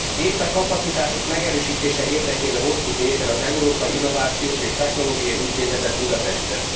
Épp e kapacitások megerősítése érdekében hoztuk létre az Európai Innovációs és Technológiai Intézetet Budapesten.